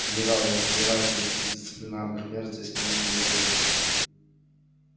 генерал я не сомневаюсь что никаких дисциплинарных мер здесь принято не будет